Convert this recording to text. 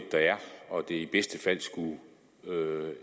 og vi i bedste fald